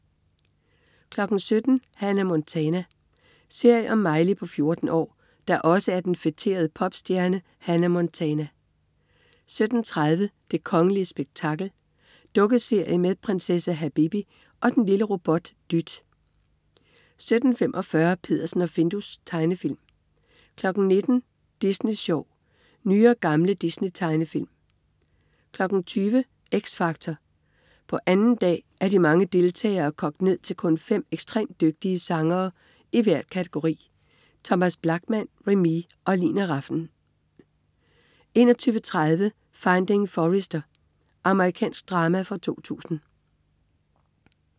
17.00 Hannah Montana. Serie om Miley på 14 år, der også er den feterede popstjerne Hannah Montana 17.30 Det kongelige spektakel. Dukkeserie med prinsesse Habibi og og den lille robot Dyt 17.45 Peddersen og Findus. Tegnefilm 19.00 Disney Sjov. Nye og gamle Disney-tegnefilm 20.00 X Factor. På 2. dag er de mange deltagere kogt ned til kun fem ekstremt dygtige sangere i hver kategori. Thomas Blachman, Remee og Lina Rafn 21.30 Finding Forrester. Amerikansk drama fra 2000